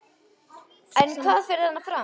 En hvað fer þarna fram?